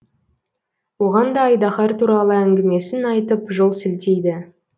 оған да айдаһар туралы әңгімесін айтып жол сілтейді